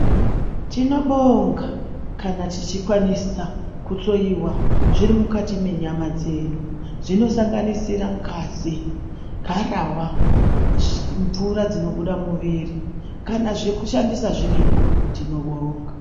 Tinobonga kana tichi kwanisa kuhloiwa zvirimukati menyama dzedu zvino sanganisira ngazi, garahwa, mvura dzinobuda muviri, kana zveku shandisa zviripo tinobonga.